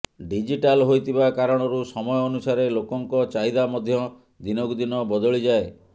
digital ହୋଇଥିବା କାରଣରୁ ସମୟ ଅନୁସାରେ ଲୋକଙ୍କ ଚାହିଦା ମଧ୍ୟ ଦିନକୁ ଦିନ ବଦଳିଯାଏ